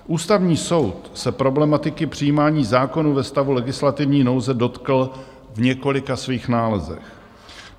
Ústavní soud se problematiky přijímání zákonů ve stavu legislativní nouze dotkl v několika svých nálezech.